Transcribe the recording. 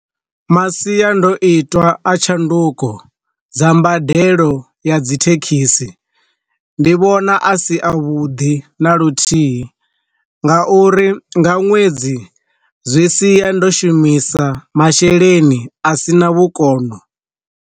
Masiandoitwa a tshanduko dza mbadelo ya dzi thekhisi, ndi vhona a si a vhuḓi na luthihi, nga uri nga ṅwedzi zwi siya ndo shumisa masheleni a si na vhukono.